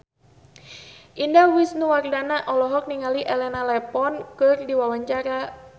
Indah Wisnuwardana olohok ningali Elena Levon keur diwawancara